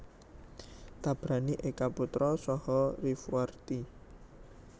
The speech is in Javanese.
Tabrani Eka Putra saha Rifwarti